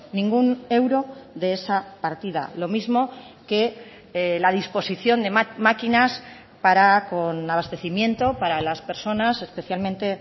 ningún euro de esa partida lo mismo que la disposición de maquinas para con abastecimiento para las personas especialmente